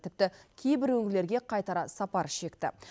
тіпті кейбір өңірлерге қайтара сапар шекті